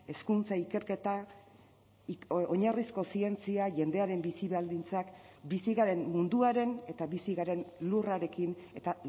hezkuntza ikerketa oinarrizko zientzia jendearen bizi baldintzak bizi garen munduaren eta bizi garen lurrarekin eta